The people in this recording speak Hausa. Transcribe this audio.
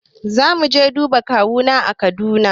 Zamu je duba kawuna a kudan